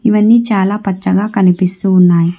ఇవన్నీ చాలా పచ్చగా కనిపిస్తు ఉన్నాయి.